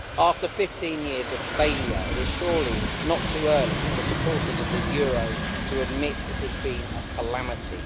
After 15 years of failure, it is surely not too early for supporters of the euro to admit it has been a calamity.